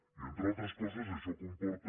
i entre altres coses això comporta